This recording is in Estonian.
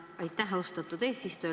Aitäh, austatud eesistuja!